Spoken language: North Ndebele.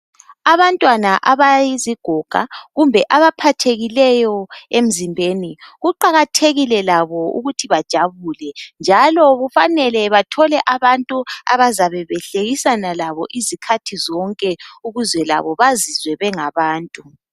Abantwana abayizigoga, kumbe abaphathekileyo emzimbeni, kuqakhathekile labo ukuthi bejabule. Njalo kufanele bathole abantu abazabe behlekisana labo izikhathi zonke ukuze labo bazizwe bengabantu.